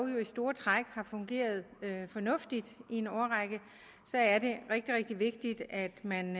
jo i store træk har fungeret fornuftigt i en årrække er det rigtig rigtig vigtigt at man